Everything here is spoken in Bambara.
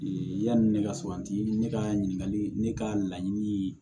yanni ne ka sabati ne ka ɲininkali ne ka laɲini